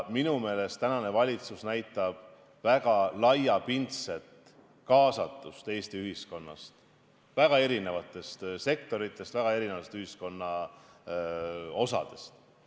Minu meelest näitab valitsus väga laiapindset kaasatust Eesti ühiskonnast, väga erinevatest sektoritest, väga erinevast ühiskonna osadest.